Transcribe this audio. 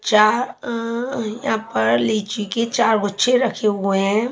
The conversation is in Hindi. यहां पर लीची के चार गुच्छे रखे हुए है।